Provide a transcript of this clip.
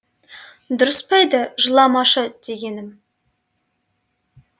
дұрыс па еді жыламашы дегенім